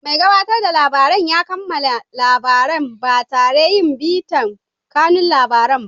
Mai gabatarda labarai ya kammala labaran ba tare yin bitan kanun labarai ba.